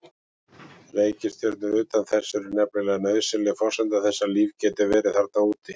Reikistjörnur utan þess eru nefnilega nauðsynleg forsenda þess að líf geti verið þarna úti.